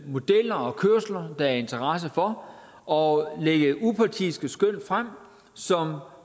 modeller og kørsler der er interesse for og lægge upartiske skøn frem som